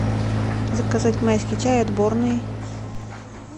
заказать майский чай отборный